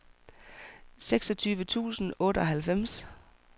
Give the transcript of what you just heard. seksogtyve tusind og otteoghalvfems